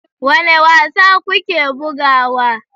Wane wasa kuke bugawa?